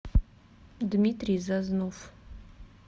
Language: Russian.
дмитрий зазнов